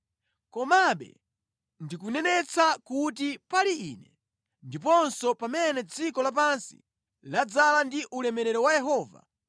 Komabe, ndikunenetsa kuti pali Ine, ndiponso pamene dziko lapansi ladzaza ndi ulemerero wa Yehova,